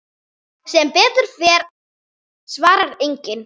Sem betur fer svarar enginn.